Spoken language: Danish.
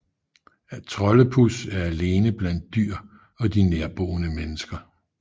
Troldepus er alene blandt dyr og de nærboende mennesker